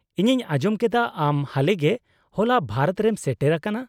-ᱤᱧᱤᱧ ᱟᱸᱡᱚᱢ ᱠᱮᱫᱟ ᱟᱢ ᱦᱟᱞᱮᱜᱮ ᱦᱚᱞᱟ ᱵᱷᱟᱨᱚᱛᱨᱮᱢ ᱥᱮᱴᱮᱨ ᱟᱠᱟᱱᱟ ᱾